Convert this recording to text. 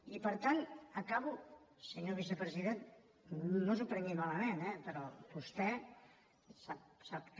i per tant acabo senyor vicepresident no s’ho prengui malament eh però vostè sap que